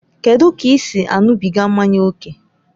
Kedụ ka ị si aṅụbiga mmanya ókè?